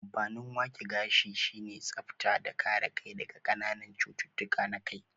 Amfanin wake gashi sine tsafta da kare kai daga kananan cututtuka na kai